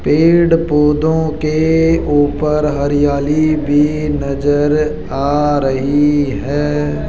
पेड़ पौधों के ऊपर हरियाली भी नजर आ रही है।